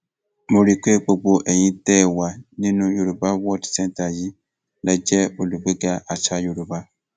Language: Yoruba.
mo rí i pé gbogbo ẹyin tẹ ẹ wà nínú yorùbá world centre yìí lè jẹ olùgbéga àṣà yorùbá